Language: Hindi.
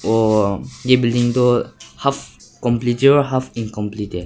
और ये बिल्डिंग तो हॉफ कंप्लीट है और हॉफ इनकंप्लीट है।